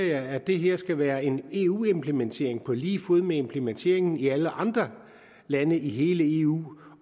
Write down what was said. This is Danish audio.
jeg at det her skulle være en eu implementering på lige fod med implementeringen i alle andre lande i hele eu